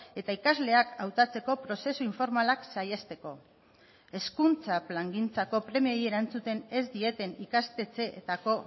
eta ikasleak hautatzeko prozesu informalak saihesteko hezkuntza plangintzako premiei erantzuten ez dieten ikastetxeetako